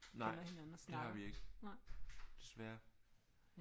Nej. Det har vi ikke. Desværre